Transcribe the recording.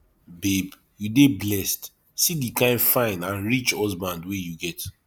babe you dey blessed see the kin fine and rich husband wey you get